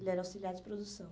Ele era auxiliar de produção.